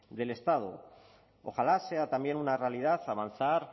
del estado ojalá sea también una realidad avanzar